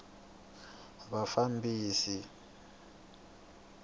vafambisi